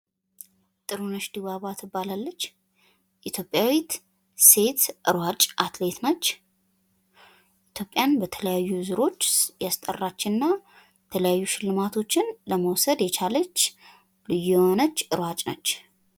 ጥሩነሽ ድባባ ትባላለች። ኢትዮጵያዊት ሴት ሯጭ አትሌት ነች። ኢትዮጵያን በተለያዩ ዙሮች ያስጠራችና የተለያዩ ሽልማቶችን መውሰድ የቻለች ልዩ የሆነች ሯጭ ነች።